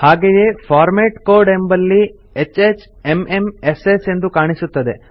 ಹಾಗೆಯೇ format code ಎಂಬಲ್ಲಿ HHMMSS ಎಂದು ಕಾಣಿಸುತ್ತದೆ